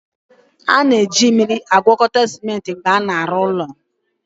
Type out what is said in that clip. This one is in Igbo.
A na-eji mmiri na-agwakọta simenti mgbe a na-arụ ụlọ